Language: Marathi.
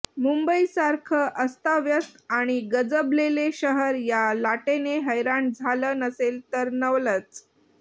मुंबईसारखं अस्ताव्यस्त आणि गजबजलेले शहर या लाटेने हैराण झालं नसेल तर नवलच